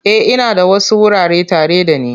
E, ina da wasu wurare tare da ni.